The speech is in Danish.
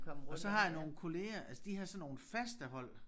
Og så har jeg nogle kolleger altså de har sådan nogle faste hold